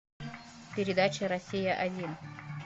передача россия один